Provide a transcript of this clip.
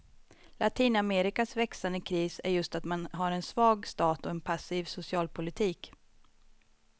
Latinamerikas växande kris är just att man har en svag stat och en passiv socialpolitik.